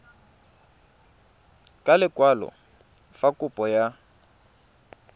ka lekwalo fa kopo ya